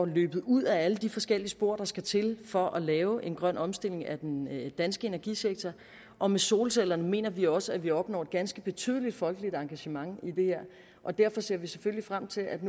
løbet ud ad alle de forskellige spor der skal til for at lave en grøn omstilling af den danske energisektor og med solcellerne mener vi også vi opnår et ganske betydeligt folkeligt engagement i det og derfor ser vi selvfølgelig frem til at